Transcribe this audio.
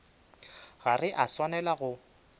ga re a swanela go